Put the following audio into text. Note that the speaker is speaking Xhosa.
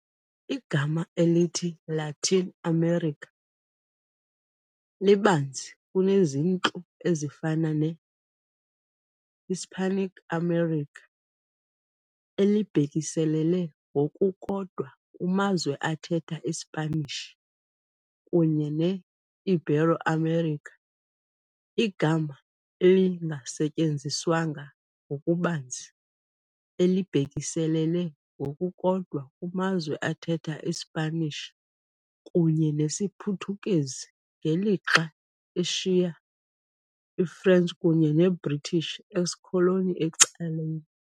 Igama elithi "Latin America" libanzi kunezintlu ezifana ne "-Hispanic America", elibhekiselele ngokukodwa kumazwe athetha iSpanishi, kunye ne "-Ibero-America", igama elingasetyenziswanga ngokubanzi elibhekiselele ngokukodwa kumazwe athetha iSpanish kunye nesiPhuthukezi ngelixa eshiya i-French kunye ne-British excoloni ecaleni.